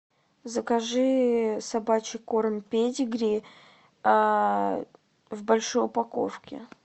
закажи собачий корм педигри в большой упаковке